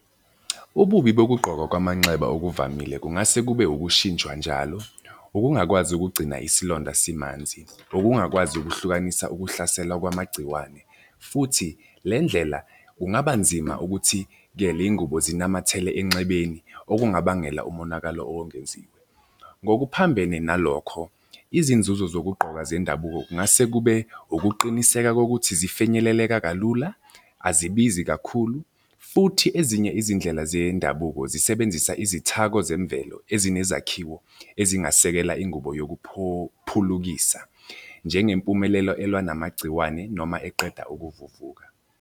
Ububi bokugqokwa kwamanxeba okuvamile kungase kube ukushintshwa njalo, ukungakwazi ukugcina isilonda simanzi, Ukungakwazi ukuhlukanisa ukuhlaselwa kwamagciwane, futhi le ndlela kungaba nzima ukuthi-ke iy'ngubo zinamathele enxebeni, okungabangela umonakalo owengeziwe. Ngokuphambene nalokho, izinzuzo zokugqoka zendabuko kungase kube ukuqiniseka kokuthi zifinyeleleka kalula, azibizi kakhulu futhi ezinye izindlela zendabuko zisebenzisa izithako zemvelo ezinezakhiwo ezingasekela ingubo yokuphophulukisa njengempumelelo elwa namagciwane noma eqeda ukuvuvuka.